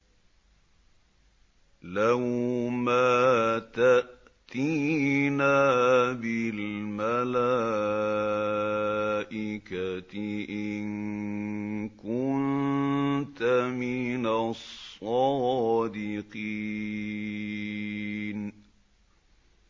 لَّوْ مَا تَأْتِينَا بِالْمَلَائِكَةِ إِن كُنتَ مِنَ الصَّادِقِينَ